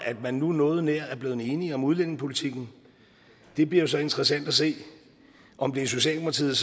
at man nu noget nær er blevet enige om udlændingepolitikken det bliver jo så interessant at se om det er socialdemokratiet